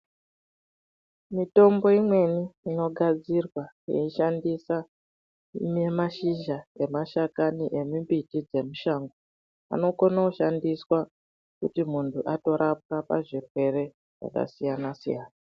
Mitombo imweni inogadzirwa veyishandisa nemashizha nemashakami emibiti dzemushango, anokona kushandiswa kuti muhnu atorapwa pazvirwere zvakasiyana siyana.